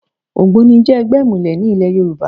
ÒgbónI jẹ́ ẹgbẹ́ ìmùlẹ̀ ní ìlẹ̀ Yorùbá